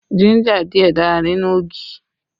Jínjà díẹ̀ dára nínú ogi